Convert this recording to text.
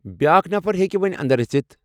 بیاکھ نفر ہیكہِ وونۍ اندر أژِتھ ۔